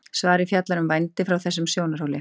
svarið fjallar um vændi frá þessum sjónarhóli